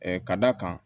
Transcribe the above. ka d'a kan